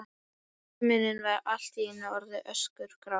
Himinninn var allt í einu orðinn öskugrár.